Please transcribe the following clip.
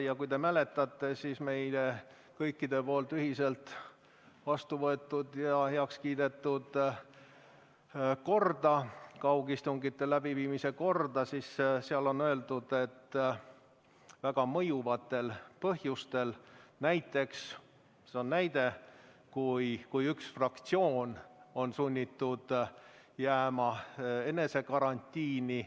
Ja kui te mäletate meie kõikide heakskiidul ühiselt vastu võetud kaugistungite läbiviimise korda, siis seal on öeldud, et see toimub väga mõjuvatel põhjustel, näiteks – see on näide –, kui ühe fraktsiooni liikmed on sunnitud jääma eneseisolatsiooni.